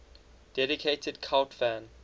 dedicated cult fan